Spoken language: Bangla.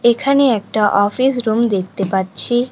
এখানে একটা অফিস রুম দেখতে পাচ্ছি।